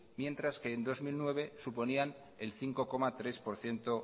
mientras que en dos mil nueve suponían el cinco coma tres por ciento